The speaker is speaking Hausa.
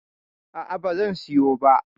A'a, ba zan siyo ba.